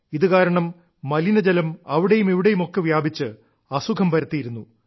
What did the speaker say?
ഇതുകാരണം മലിനജലം അവിടെയും ഇവിടെയുമൊക്കെ വ്യാപിച്ച് അസുഖം പരത്തിയിരുന്നു